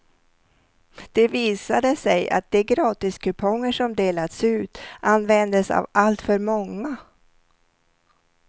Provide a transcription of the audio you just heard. Det visade sig att de gratiskuponger som delats ut användes av allt för många.